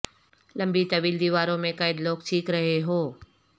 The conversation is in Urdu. لمبی طویل دیواروں میں قید لوگ چیخ رہے ہو